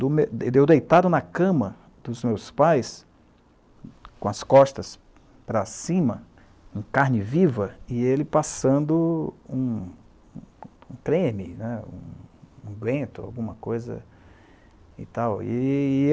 Deu deitado na cama dos meus pais, com as costas para cima, em carne viva, e ele passando um creme né , um bento, alguma coisa.